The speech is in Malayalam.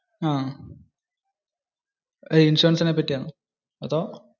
അഹ്. ഇൻഷുറൻസിന്റെ പറ്റി ആണോ? അതോ?